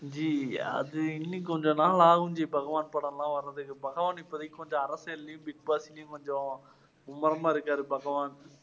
G, அது இன்னும் கொஞ்சம் நாள் ஆகும் ஜி பகவான் படமெல்லாம் வர்றதுக்கு. பகவான் இப்போதைக்கு கொஞ்சம் அரசியல்லேயும், பிக் பாஸ்லேயும் கொஞ்சம் மும்முரமா இருக்காரு பகவான்.